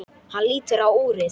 Hann lítur á úrið.